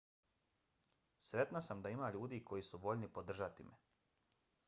sretna sam da ima ljudi koji su voljni podržati me